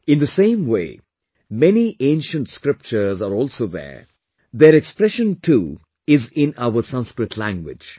In the same way, many ancient scriptures are also there; their expression too is in our Sanskrit language